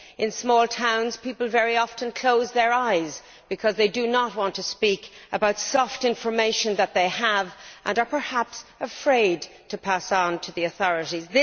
In small towns, people very often close their eyes because they do not want to speak about soft information' that they have, and are perhaps afraid to pass it on to the authorities.